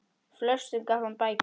Flestum gaf hann bækur.